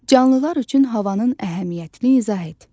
Canlılar üçün havanın əhəmiyyətli izah et.